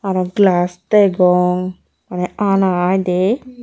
aro glass degong maneh ana ai dey.